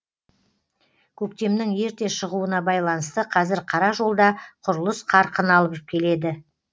көктемнің ерте шығуына байланысты қазір қара жолда құрылыс қарқын алып келеді